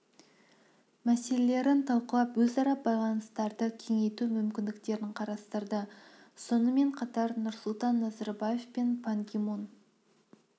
мәселелерін талқылап өзара байланыстарды кеңейту мүмкіндіктерін қарастырды сонымен қатар нұрсұлтан назарбаев пен пан ги мун